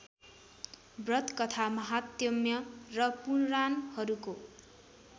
व्रतकथा महात्म्य र पुराणहरूको